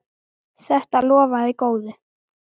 Þetta lofaði góðu!